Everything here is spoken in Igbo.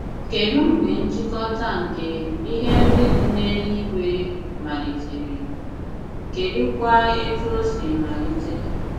Kedụ mgbe nchịkọta nke “ ihe ndị dị n’eluigwe ” malitere ,Kedụkwa etù o si malite?